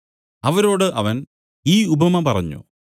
അവരോട് അവൻ ഈ ഉപമ പറഞ്ഞു